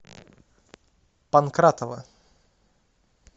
панкратова